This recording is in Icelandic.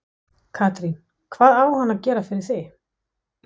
Katrín: Hvað á hann að gera fyrir þig?